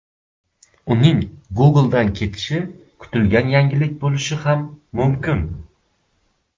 Uning Google’dan ketishi kutilgan yangilik bo‘lishi ham mumkin.